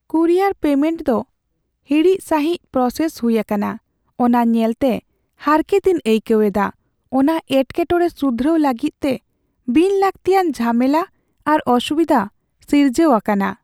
Courier payment ᱫᱚ ᱦᱤᱲᱤᱡ ᱥᱟᱹᱦᱤᱡ ᱯᱨᱚᱥᱮᱥ ᱦᱩᱭ ᱟᱠᱟᱱᱟ ᱚᱱᱟ ᱧᱮᱞᱛᱮ ᱦᱟᱨᱠᱮᱛᱤᱧ ᱟᱹᱭᱠᱟᱹᱣ ᱮᱫᱟ, ᱚᱱᱟ ᱮᱴᱠᱮᱴᱚᱬᱮ ᱥᱩᱫᱷᱨᱟᱹᱣ ᱞᱟᱹᱜᱤᱫᱛᱮ ᱵᱤᱱ ᱞᱟᱹᱠᱛᱤᱭᱟᱱ ᱡᱷᱟᱢᱮᱞᱟ ᱟᱨ ᱚᱥᱩᱵᱤᱫᱷᱟ ᱥᱤᱨᱡᱟᱹᱣ ᱟᱠᱟᱱᱟ ᱾